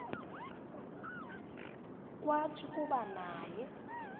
kwathi kuba naye